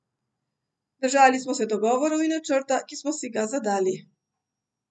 Držali smo se dogovorov in načrta, ki smo si ga zadali.